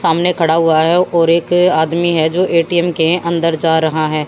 सामने खड़ा हुआ है और एक आदमी है जो ए_टी_एम के अंदर जा रहा है।